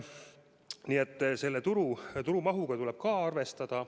Nii et selle turu mahuga tuleb ka arvestada.